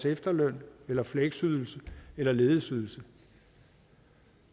efterløn eller fleksydelse eller ledighedsydelse